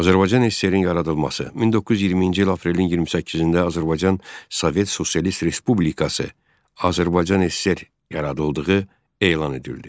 Azərbaycan SSR-in yaradılması 1920-ci il aprelin 28-də Azərbaycan Sovet Sosialist Respublikası, Azərbaycan SSR yaradıldığı elan edildi.